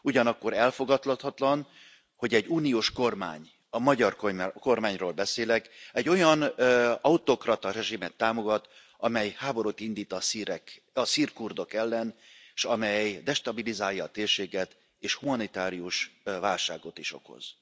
Ugyanakkor elfogadhatatlan, hogy egy uniós kormány, a magyar kormányról beszélek, egy olyan autokrata rezsimet támogat, amely háborút indít a szír kurdok ellen, s amely destabilizálja a térséget és humanitárius válságot is okoz.